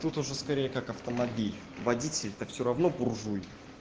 тут уже скорее как автомобиль водитель то всё равно буржуй